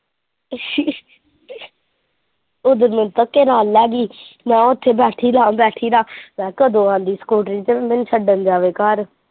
ਅੱਛਾ ਉਦਨ ਮੈਨੂੰ ਧੱਕੇ ਨਾਲ ਲਾ ਗਈ ਮੈਂ ਉੱਥੇ ਬੈਠੀ ਰਾ ਬੈਠੀ ਰਾ ਮੈਂ ਕਿਹਾ ਕਦੋਂ ਆਉੰਦੀ ਸਕੂਟਰੀ ਤੇ ਮੈਨੂੰ ਛੱਡਣ ਜਾਵੇ ਘਰ।